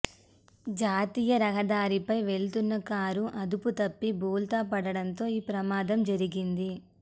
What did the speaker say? జాతీయ రహదారిపై వెళుతున్న కారు అదుపుతప్పి బోల్తా పడడంతో ఈ ప్రమాదం జరిగింది